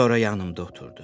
Sonra yanımda oturdu.